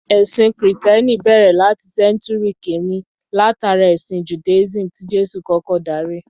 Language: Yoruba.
Ẹ̀sìn Kìtẹ́ẹ́nì bẹ̀rẹ̀ láti Sẹ́ńtúrì kíni látara ẹ̀sìn Judaism tí Jésù kọ́kọ́ darí.